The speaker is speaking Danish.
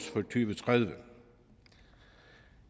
tredive